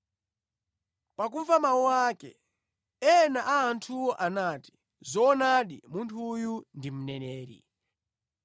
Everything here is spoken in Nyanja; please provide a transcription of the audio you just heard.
Pakumva mawu ake, ena a anthuwo anati, “Zoonadi munthu uyu ndi mneneri.”